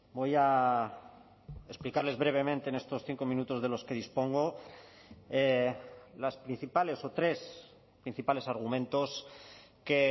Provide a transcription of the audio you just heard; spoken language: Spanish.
voy a explicarles brevemente en estos cinco minutos de los que dispongo las principales o tres principales argumentos que